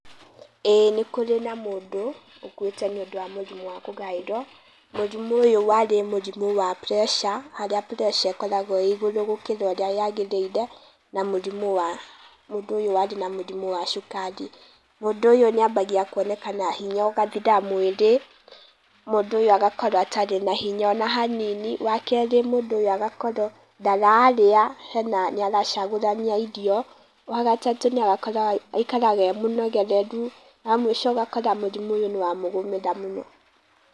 Ĩĩ nĩkũrĩ na mũndũ ũkuĩte nĩũndũ wa mũrimũ wa kũgaĩrwo. Mũrimũ ũyũ warĩ mũrimũ wa pressure , harĩa pressure ĩkoragwo ĩĩ ĩgũrũ gũkĩra ũrĩa yagĩrĩire, na mũrimũ wa mũndũ ũyũ arĩ na mũrimũ wa cukari. Mũndũ ũyũ nĩambagia kwonekana hinya ũgathira mwĩrĩ, mũndũ ũyũ agakorwo atarĩ na hinya ona hanini, wakerĩ mũndũ ũyũ agakorwo ndararĩa, hena, nĩaracagũrania irio. Wagatatũ nĩarakora aĩkaraga ee mũnegereru, wa mũico ũgakora mũrimũ ũyũ nĩwamũgũmĩra mũno.